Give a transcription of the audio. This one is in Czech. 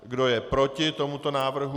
Kdo je proti tomuto návrhu?